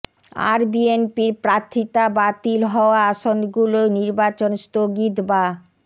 আর বিএনপির প্রার্থিতা বাতিল হওয়া আসনগুলোয় নির্বাচন স্থগিত বা